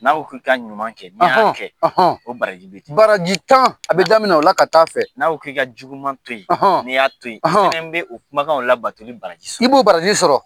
N'a k'i ka ɲuman kɛ ni ya kɛ o baraji bi baraji tan a bɛ daminɛ o la ka taa a fɛ . Na ko k'i ka juguman to yen, n'i y'a to yen i fɛnɛ bɛ o.kumakanw la batoli baraji sɔrɔ. I b'o baraji sɔrɔ.